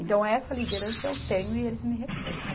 Então, essa liderança eu tenho e eles me respeitam.